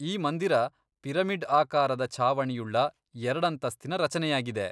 ಈ ಮಂದಿರ ಪಿರಮಿಡ್ ಆಕಾರದ ಛಾವಣಿಯುಳ್ಳ ಎರಡಂತಸ್ತಿನ ರಚನೆಯಾಗಿದೆ.